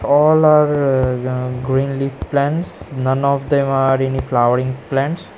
All are a ya green leaf plans. None of them are in flowering plants.